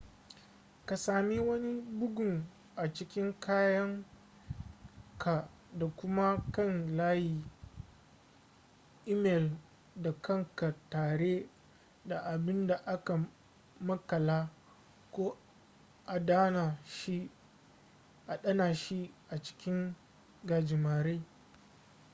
ka sami wani bugun a cikin kayan ka da kuma kan layi imel da kanka tare da abin da aka makala ko adana shi a cikin gajimare”